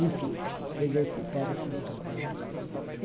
Enfim, fez esse periculo todo, né.